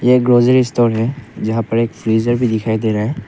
यह grocery store है जहां पर एक फ्रीजर भी दिखाई दे रहा है।